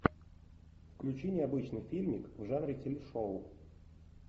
включи необычный фильмик в жанре телешоу